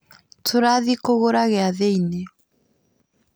Turathiĩ kũgũra gĩathĩ-inĩ